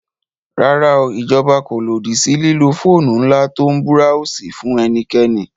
Rárá o, ìjọba kò lòdì sí lílo fóònù ńlá tó ń búráósì fún ẹnikẹ́ni